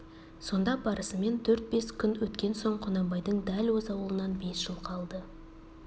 сонда барысымен төрт-бес күн өткен соң құнанбайдың дәл өз аулынан бес жылқы алды